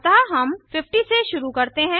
अतः हम 50 से शुरू करते हैं